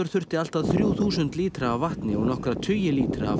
þurfti allt að þrjú þúsund lítra af vatni og nokkra tugi lítra af